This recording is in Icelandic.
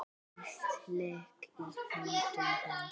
Allt lék í höndum hans.